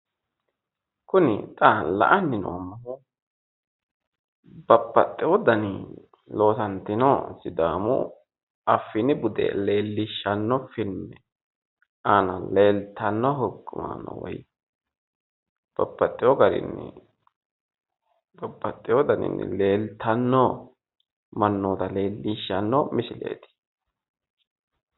Kuni xa la'anni noommohu babbaxxeewo daninni loosantino sidaamu affini bude leellishshanno filme aana leeltanno hukkumaano woy babbaxxeewo garinni babbaxxeewo daninni leeltanno mannoota leellishshanno misileeti